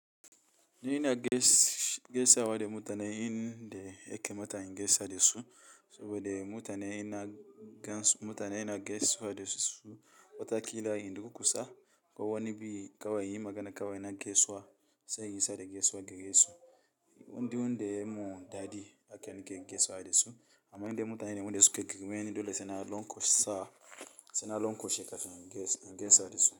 N'ina gaisawa da mutane in da yakamata in gaisa da su, saboda mutane ina gansu mutane ina gaisawa da su wataƙila in dur ƙusa, ko wani bi kawai inyi magana kawai na gaisuwa sai in isar da gaisuwa garesu. Indai wanda yamun daɗi haka nake gaisawa da su, amma inde mutane wanda suka girmeni dole saina lon ƙosa, saina lon koshe kafin in gaisa da su.